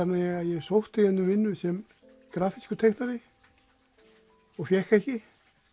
ég sótti hérna um vinnu sem grafískur teiknari og fékk ekki